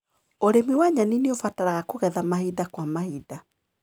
ũrĩmi wa nyeni nĩũbataraga kũgetha mahinda kwa mahinda.